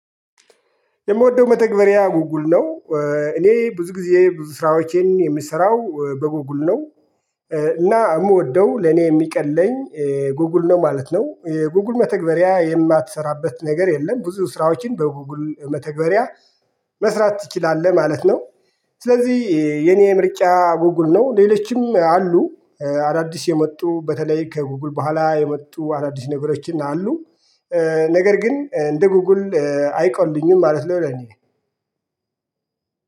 የምወደው መተግበሪያ ጎግል ነው። እኔ ብዙ ጊዜ ብዙ ስራዎቼን የምሰራው በጎግል ነው። እና የምወደው ለኔ የሚቀለኝ ጎጉል ነው ማለት ነው። ጎጉል መተግበሪያ የማትሰራበት ነገር የለም። ብዙ ስራዎችን በጎጉል መተግበሪያ መስራት ትችላለህ ማለት ነው። ስለዚህ የኔ ምርጫ ጎጉል ነው ሌሎችም አሉ። አዳዲስ የመጡ በተለይ ከጎጉል በኋላ የመጡ አዳዲስ ነገሮችን አሉ። ነገር ግን እንደ ጎጉል አይቀሉኝም ማለት ነው። ለኔ